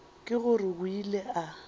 ke gore o ile a